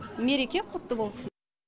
мереке құтты болсын